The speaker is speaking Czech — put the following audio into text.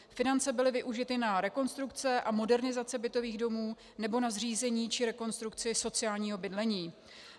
Finance byly využity na rekonstrukce a modernizace bytových domů nebo na zřízení či rekonstrukci sociálního bydlení.